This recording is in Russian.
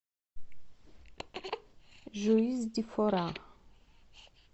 жуис ди фора